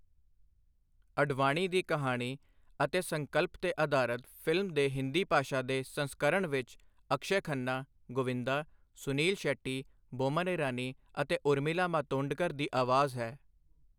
ਅਡਵਾਨੀ ਦੀ ਕਹਾਣੀ ਅਤੇ ਸੰਕਲਪ 'ਤੇ ਅਧਾਰਤ, ਫਿਲਮ ਦੇ ਹਿੰਦੀ ਭਾਸ਼ਾ ਦੇ ਸੰਸਕਰਣ ਵਿੱਚ ਅਕਸ਼ੈ ਖੰਨਾ, ਗੋਵਿੰਦਾ, ਸੁਨੀਲ ਸ਼ੈੱਟੀ, ਬੋਮਨ ਇਰਾਨੀ ਅਤੇ ਉਰਮਿਲਾ ਮਾਤੋਂਡਕਰ ਦੀ ਆਵਾਜ਼ ਹੈ।